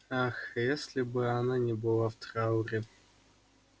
ах если бы она не была в трауре